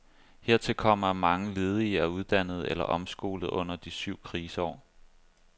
Hertil kommer, at mange ledige er uddannet eller omskolet under de syv kriseår.